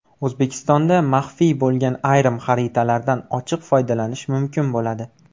O‘zbekistonda maxfiy bo‘lgan ayrim xaritalardan ochiq foydalanish mumkin bo‘ladi.